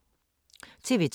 TV 2